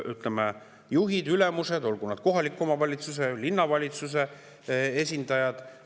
Ütleme, juhid, ülemused, olgu nad kohaliku omavalitsuse, linnavalitsuse esindajad …